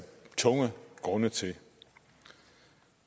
tungtvejende grunde til